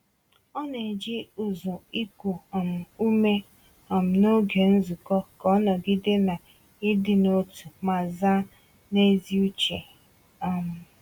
Ọ na-eji ụzụ iku um ume um n’oge nzukọ ka o nọgide na ịdị n’otu ma zaa n’ezi uche. um